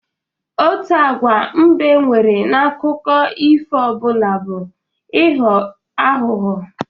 Otu agwa mbe nwere n'akụkọ ifo ọbụla bụ ịghọ aghụghọ